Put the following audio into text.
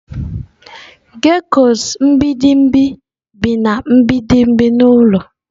Geckos mgbidi bi na mgbidi n'ụlọ.